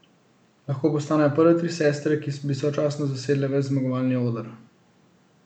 Lahko postanejo prve tri sestre, ki bi sočasno zasedle ves zmagovalni oder.